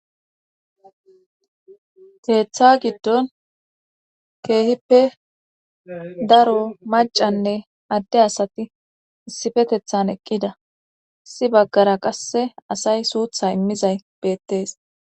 Keeththa giddon keehippe daro macanne adde asati issifetethan eqqida. issi baggara qasse asay suutha immizay beettees.